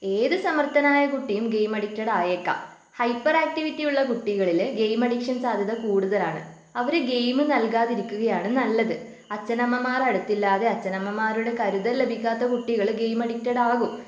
ഏതു സമർഥനായ കുട്ടിയും ഗെയിം അഡിക്റ്റട് ആയേക്കാം. ഹൈപ്പർ ആക്ടിവിറ്റി ഉള്ള കുട്ടികളില് ഗെയിം അഡിക്ഷൻ സാധ്യത കൂടുതലാണ് അവര് ഗെയിം നൽകാതിരിക്കുകയാണ് നല്ലത് അച്ഛനമ്മമാർ അടുത്തില്ലാതെ അച്ഛനമ്മമാരുടെ കരുതൽ ലഭിക്കാത്ത കുട്ടികൾ ഗെയിം അഡിക്റ്റഡ് ആകും